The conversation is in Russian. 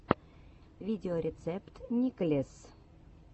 видеорецепт никлесс